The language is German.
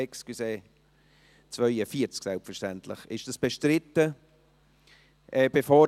Es ist selbstverständlich das Traktandum 42.